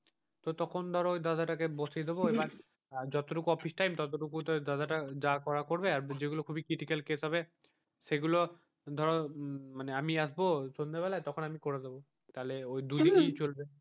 তো তখন ধরো ওই দাদাটাকে বসিয়ে দেবো এবার যতটুকু অফিস time ততটুকু তো দাদাটা যা করার করবে আর যেগুলো খুবই critical case হবে সেগুলো ধরো হম আমি আসবো সন্ধ্যা বেলায় করে দেবো তাহলে দুই দিকেই চলবে।